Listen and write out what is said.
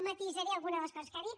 matisaré algunes de les coses que ha dit